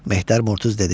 Mehtər Murtuz dedi: